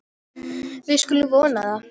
Við skulum vona það.